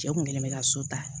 Cɛ kun kɛlen bɛ ka so ta